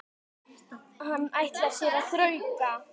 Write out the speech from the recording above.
Hann ætlaði sér að þrauka.